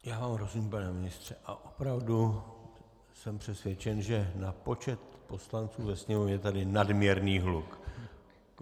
Já vám rozumím, pane ministře, a opravdu jsem přesvědčen, že na počet poslanců ve Sněmovně je tady nadměrný hluk.